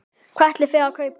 Hvað ætlið þið að kaupa?